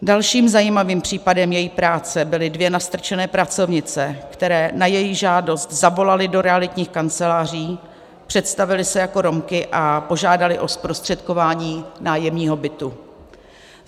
Dalším zajímavým případem její práce byly dvě nastrčené pracovnice, které na její žádost zavolaly do realitních kanceláří, představily se jako Romky a požádaly o zprostředkování nájemního bytu.